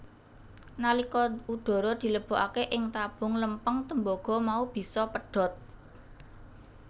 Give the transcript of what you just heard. Nalika udhara dilebokake ing tabung lempeng tembaga mau bisa pedhot